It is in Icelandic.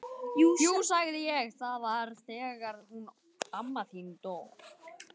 Jú sagði ég, það var þegar hún amma þín dó